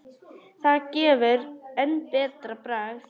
Það gefur enn betra bragð.